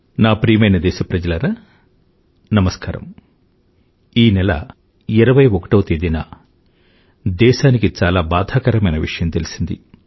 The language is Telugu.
నా ప్రియమైన దేశప్రజలారా నమస్కారం ఈ నెల 21వ తేదీన దేశానికి ఒక చాలా బాధాకరమైన విషయం తెలిసింది